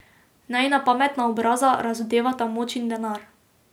Najina pametna obraza razodevata moč in denar.